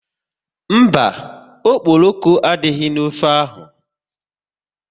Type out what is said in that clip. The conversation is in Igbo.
Mba, okporoko adịghị n'ofe ahụ